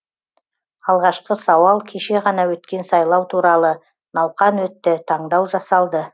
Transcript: алғашқы сауал кеше ғана өткен сайлау туралы науқан өтті таңдау жасалды